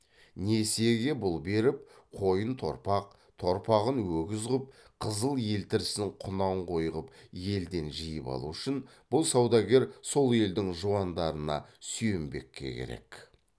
несиеге бұл беріп қойын торпақ торпағын өгіз ғып қызыл елтірісін құнан қой қып елден жиып алу үшін бұл саудагер сол елдің жуандарына сүйенбекке керек